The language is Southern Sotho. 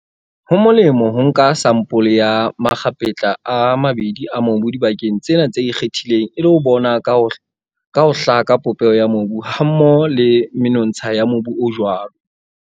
Ho molemo ho nka sampole ya makgapetla a mabedi a mobu dibakeng tsena tse ikgethileng e le ho bona ka ho hlaka popeho ya mobu hammoho le menontsha ya mobu o jwalo.